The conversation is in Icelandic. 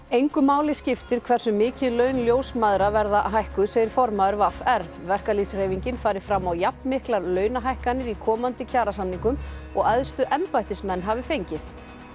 engu máli skiptir hversu mikið laun ljósmæðra verða hækkuð segir formaður v r verkalýðshreyfingin fari fram á jafnmiklar launahækkanir í komandi kjarasamningum og æðstu embættismenn hafi fengið